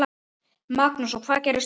Magnús: Og hvað gerist núna?